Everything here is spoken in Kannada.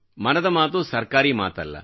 ಮನದ ಮಾತು ಸರ್ಕಾರಿ ಮಾತಲ್ಲ